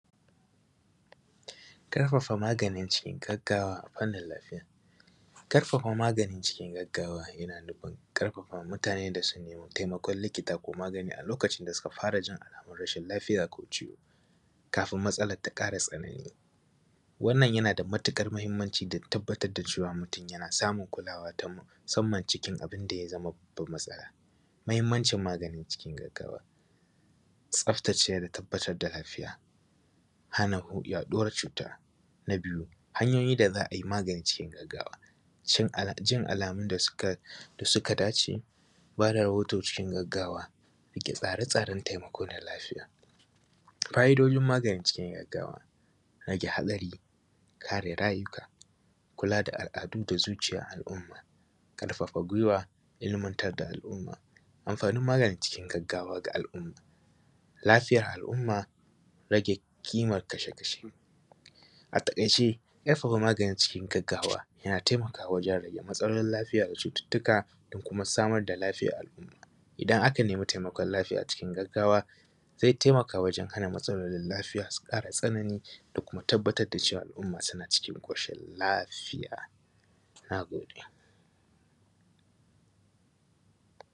Ƙarfafa magani cikin gaggawa a fannin lafiya. ƙarfafa magani cikin gaggawa yana nufin ƙarfafa mutaane da su nemi taimakon likita ko magani a lokacin da suka fara jin alaamun rashin lafiya ko ciwo kafin matsalar ta ƙara tsanani. Wannan yana da matuƙar mahimmanci da tabbatar da cewa mutum yana samun kulaawa ta musamman cikin abin da ya zama babban matsala. Muhimmancin magani cikin gaggawa, tsaftace da tabbatar da lafiya, hana yaɗuwar cuuta. Na biyu, hanyoyin da za a yi magani cikin gaggawa, jin alaamun da suka dace, ba da rahoto cikin gaggawa, riƙe tsaare-tsaaren taimako na lafiya. Ƙa’idojin magani cikin gaggawa, rage hatsari, kare rayuka, kulaa da al’adu da zuciyar al’umma, ƙarfafa gwiwa, ilmantar da al’umma. Amfaanin maganin gaggawa ga al’umma, lafiyar al’umma, rage ƙimar kashe-kashe. A taƙaice cikin gaggawa yana taimakawa wajen rage matsalolin lafiya da cututtuka da kuma samar da lafiyan al’umma. Idan aka nemi taimakon laafiya cikin gaggawa, zai taimaka wajen hana matsalolin lafiya su ƙara tsanani da kuma tabbatar da cewa al’umma suna cikin ƙoshin lafiya. Nagode.